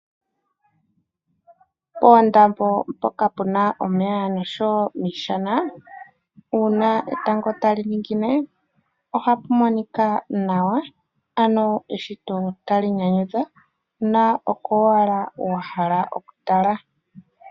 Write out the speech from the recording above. Poondambo mpoka puna omeya noshowo miishana, uuna etango tali ningine, ohapu monika nawa. Ano eshito tali nyanyudha na oko owala wa hala okutala.